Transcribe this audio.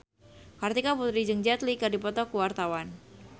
Kartika Putri jeung Jet Li keur dipoto ku wartawan